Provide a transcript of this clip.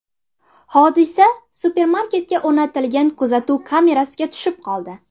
Hodisa supermarketga o‘rnatilgan kuzatuv kamerasiga tushib qoldi.